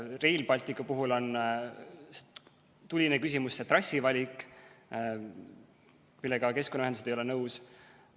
Rail Balticu puhul on tuline küsimus see trassi valik, millega keskkonnaühendused ei ole nõus.